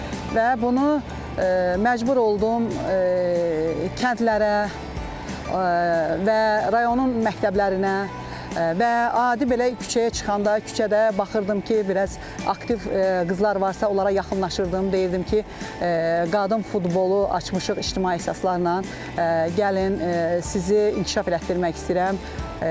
Və bunu məcbur oldum kəndlərə və rayonun məktəblərinə və adi belə küçəyə çıxanda küçədə baxırdım ki, biraz aktiv qızlar varsa onlara yaxınlaşırdım, deyirdim ki, qadın futbolu açmışıq, ictimai əsaslarla gəlin, sizi inkişaf elətdirmək istəyirəm.